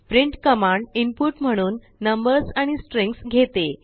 printकमांडइनपुट म्हणून नंबर्स आणिस्ट्रींग्स घेते